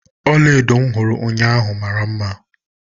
Ọlaedo m hụrụ ụnyaahụ mara mma.